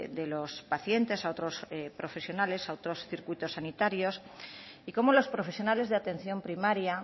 de los pacientes a otros profesionales a otros circuitos sanitarios y cómo los profesionales de atención primaria